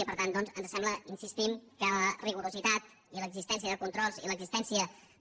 i per tant doncs ens sembla hi insistim que el rigor i l’existència de controls i l’existència de